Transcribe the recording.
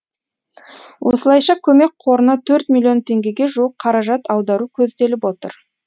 осылайша көмек қорына төрт миллион теңгеге жуық қаражат аудару көзделіп отыр